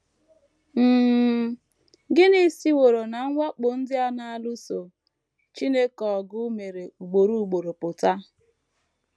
um Gịnị siworo ná mwakpo ndị a na - alụso Chineke ọgụ mere ugboro ugboro pụta?